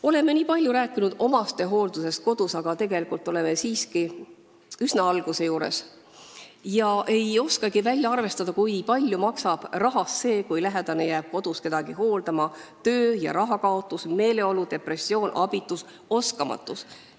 Oleme nii palju rääkinud omastehooldusest kodus, aga tegelikult oleme siiski üsna alguses ega oskagi välja arvestada, kui palju maksab rahas see, kui lähedane jääb koju kedagi hooldama: töö- ja rahakaotus, meeleolu, depressioon, abitus, oskamatus.